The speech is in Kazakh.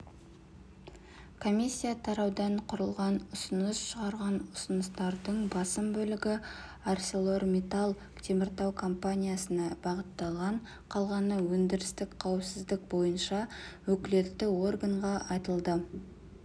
комиссия тараудан құралған ұсыныс шығарған ұсыныстардың басым бөлігі арселормиттал теміртау компаниясына бағытталған қалғаны өндірістік қауіпсіздік бойынша өкілетті органға айтылды